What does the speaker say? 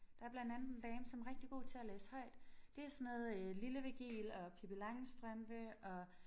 Der blandt andet en dame som rigtig god til at læse højt det er sådan noget øh Lille Virgil og Pippi Langstrømpe og